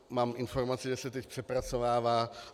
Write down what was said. Mám informaci, že se teď přepracovává.